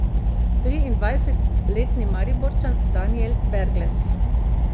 Triindvajsetletni Mariborčan Danijel Berglez.